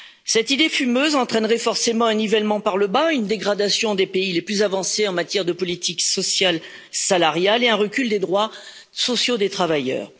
Cette idée fumeuse entraînerait forcément un nivellement par le bas, une dégradation des pays les plus avancés en matière de politique sociale, salariale, et un recul des droits sociaux des travailleurs.